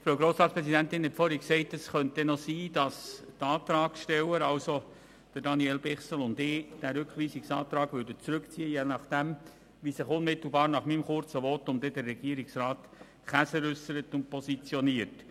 Die Frau Grossratspräsidentin hat vorhin gesagt, dass es sein könnte, dass die Antragsteller, in diesem Fall Daniel Bichsel und ich, ihren Rückweisungsantrag zurückziehen, je nachdem, wie sich Regierungsrat Käser unmittelbar nach meinem kurzen Votum äussert und positioniert.